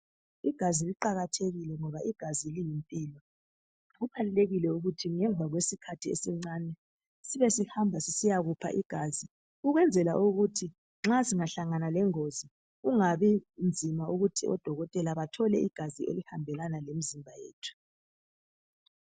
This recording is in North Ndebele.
Igazi liqakathekile ngoba liyimpilo, kubalulekile ukuthi ngemva kwesikhathi esincane sibe sihamba sisiyakupha igazi ukwenzela ukuthi nxa singahlangana lengozi kungabi nzima ukuthi odokotela bathole igazi elihambelana lemizimba yethu.